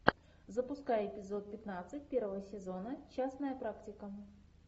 запускай эпизод пятнадцать первого сезона частная практика